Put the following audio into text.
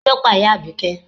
Kí ló pa ìyá Abike?